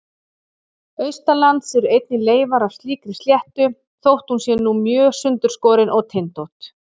Austanlands eru einnig leifar af slíkri sléttu þótt hún sé nú mjög sundurskorin og tindótt.